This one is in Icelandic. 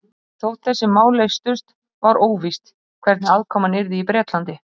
Þótt þessi mál leystust, var óvíst, hvernig aðkoman yrði í Bretlandi.